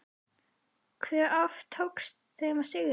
Hve oft tókst þeim að sigra?